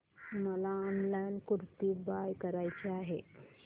मला online kurti buy करायची आहे